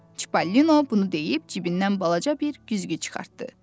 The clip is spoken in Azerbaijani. Çipallino bunu deyib cibindən balaca bir güzgü çıxartdı.